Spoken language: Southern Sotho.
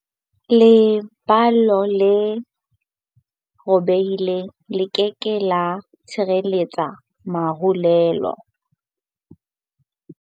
Leballo le robehileng le ke ke la tshehetsa marulelo.